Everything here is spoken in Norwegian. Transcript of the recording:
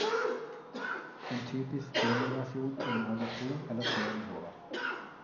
En typisk demoversjon inneholder to eller tre nivåer.